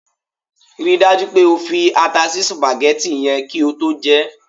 Ri dájú pé o fi ata sí sùpàgẹ́tì yẹn kí o tó jẹ ẹ́!